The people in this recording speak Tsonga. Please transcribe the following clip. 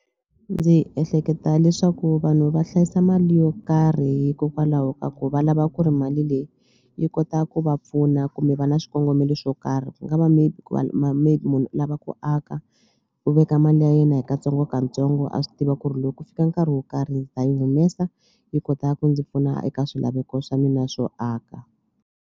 Ndzi ehleketa leswaku vanhu va hlayisa mali yo karhi hikokwalaho ka ku va lava ku ri mali leyi yi kota ku va pfuna kumbe va na swikongomelo swo karhi ku nga va maybe maybe munhu u lava ku aka u veka mali ya yena hi katsongokatsongo a swi tiva ku ri loko ku fika nkarhi wo karhi ni ta yi humesa yi kota ku ndzi pfuna eka swilaveko swa mina swo aka.